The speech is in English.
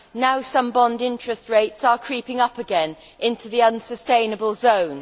Now, some bond interest rates are creeping up again into the unsustainable zone.